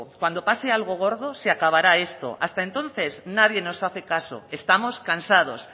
cuando pase algo gordo se acabará esto hasta entonces nadie nos hace caso estamos cansados